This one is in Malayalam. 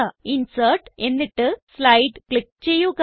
ഇൻസെർട്ട് എന്നിട്ട് സ്ലൈഡ് ക്ലിക്ക് ചെയ്യുക